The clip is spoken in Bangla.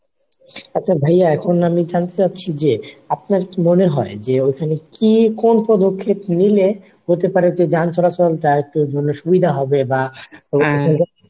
আচ্ছা ভাইয়া এখন আমি জানতে চাচ্ছি যে আপনার কি মনে হয় যে ঐখানে কি কোন প্রদক্ষেপ নিলে হতে পারে যে যান চলাচল টা একটুর জন্য সুবিধা হবে বা